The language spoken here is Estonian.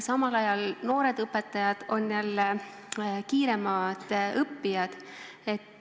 Samal ajal on noored õpetajad jälle kiiremad õppijad.